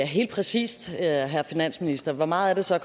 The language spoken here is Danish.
helt præcist herre finansminister hvor meget er det så